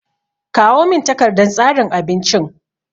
Kawo min takardan tsarin abincin!